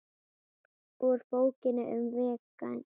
Úr Bókinni um veginn